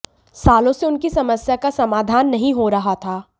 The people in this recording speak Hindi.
सालों से उनकी समस्या का समाधान नहीं हो रहा था